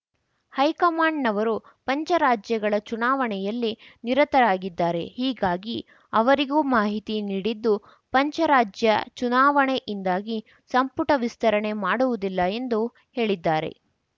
ಹೈಕಮಾಂಡ್‌ನವರು ಪಂಚ ರಾಜ್ಯಗಳ ಚುನಾವಣೆಯಲ್ಲಿ ನಿರತರಾಗಿದ್ದಾರೆ ಹೀಗಾಗಿ ಅವರಿಗೂ ಮಾಹಿತಿ ನೀಡಿದ್ದು ಪಂಚ ರಾಜ್ಯ ಚುನಾವಣೆಯಿಂದಾಗಿ ಸಂಪುಟ ವಿಸ್ತರಣೆ ಮಾಡುವುದಿಲ್ಲ ಎಂದು ಹೇಳಿದ್ದಾರೆ